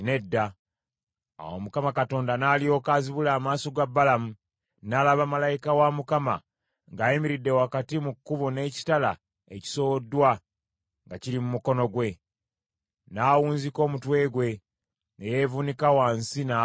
Awo Mukama Katonda n’alyoka azibula amaaso ga Balamu, n’alaba malayika wa Mukama ng’ayimiridde wakati mu kkubo n’ekitala ekisowoddwa nga kiri mu mukono gwe. N’awunzika omutwe gwe, ne yeevuunika wansi n’avuunama.